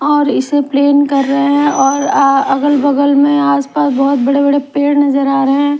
और इसे प्लेन कर रहे हैं और अ बगल में आसपास बहुत बड़े-बड़े पेड़ नजर आ रहे हैं।